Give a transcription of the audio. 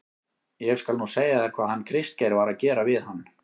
ÉG SKAL NÚ SEGJA ÞÉR HVAÐ HANN KRISTGEIR VAR AÐ GERA VIÐ HANN.